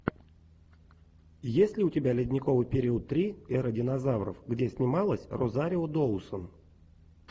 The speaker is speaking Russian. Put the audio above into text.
есть ли у тебя ледниковый период три эра динозавров где снималась розарио доусон